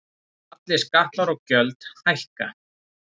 Allir skattar og gjöld hækka